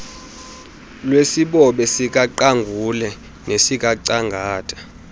lwesibobe sikaqangule nesikangcangata